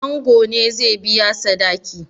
Ango ne zai biya sadaki?